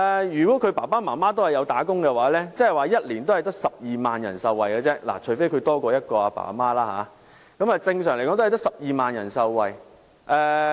如果他們的父母均為受僱人士，即1年只有12萬人受惠，除非他們有多於一對父母，但正常只有12萬人受惠。